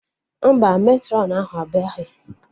Mba, Matrọn ahụ abịaghị